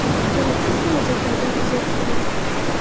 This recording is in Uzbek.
Keraksiz xarajatlardan uzoq turing.